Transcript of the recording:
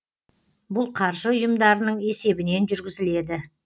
бұл қаржы ұйымдарының есебінен жүргізіледі